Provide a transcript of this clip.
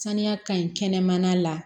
Sanuya ka ɲi kɛnɛmana la